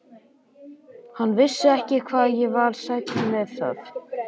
Hann vissi ekki hvað ég var sæll með það.